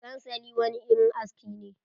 Sansali wani irin aski ne.